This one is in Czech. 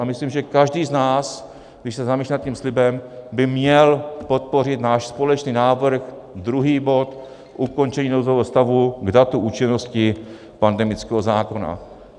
A myslím, že každý z nás, když se zamyslí nad tím slibem, by měl podpořit náš společný návrh, druhý bod, Ukončení nouzového stavu, k datu účinnosti pandemického zákona.